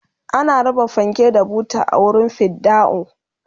ana raba fanke da buta a wurin fidda'u